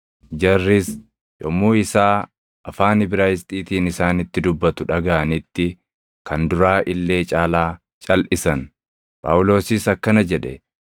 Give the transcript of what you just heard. Jarris yommuu isaa afaan Ibraayisxiitiin isaanitti dubbatu dhagaʼanitti kan duraa illee caalaa calʼisan. Phaawulosis akkana jedhe;